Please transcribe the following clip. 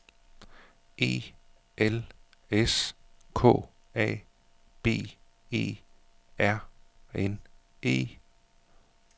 E L S K A B E R N E